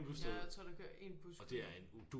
Ja jeg tror der kører 1 bus kun